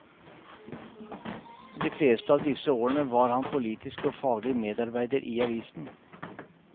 Og de fleste av disse årene var han politisk og faglig medarbeider i avisen.